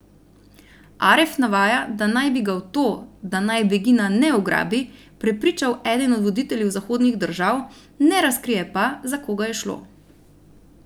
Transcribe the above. Aref navaja, da naj bi ga v to, da naj Begina ne ugrabi, prepričal eden od voditeljev zahodnih držav, ne razkrije pa, za koga je šlo.